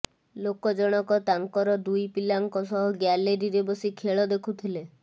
ଲୋକ ଜଣକ ତାଙ୍କର ଦୁଇ ପିଲାଙ୍କ ସହ ଗ୍ୟାଲେରୀରେ ବସି ଖେଳ ଦେଖୁଥିଲେ